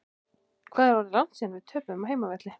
Hvað er orðið langt síðan við töpuðum á heimavelli?